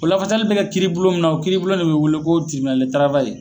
O lafasali bɛ kɛ kiiri bulon min na, o kiiri boulon ne be wele k'o